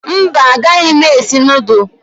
Mba, agaghị m esi nudụ